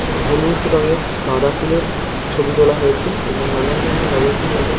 হলুদ রঙের গাদা ফুলের ছবি তোলা হয়েছে এবং নানান ধরণের গাদা ফুল এবং --